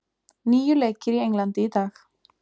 Níu leikir í Englandi í dag